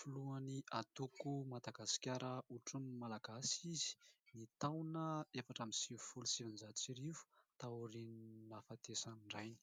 Filohan'ny antoko Madagasikara otronin'ny Malagasy izy ny taona efatra amby sivifolo sy sivinjato sy arivo, taorian'ny nahafatesan'ny rainy.